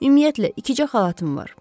Ümumiyyətlə, ikicə xalatım var.